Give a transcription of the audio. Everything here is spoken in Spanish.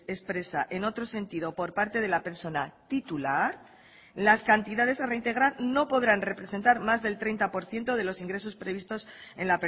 expresa en otro sentido por parte de la persona titular las cantidades a reintegrar no podrán representar más del treinta por ciento de los ingresos previstos en